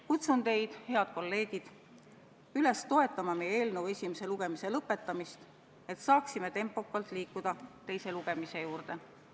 Kutsun teid, head kolleegid, üles toetama meie eelnõu esimese lugemise lõpetamist, et saaksime tempokalt liikuda teise lugemise juurde.